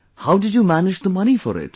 How did you manage the money for it